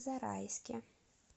зарайске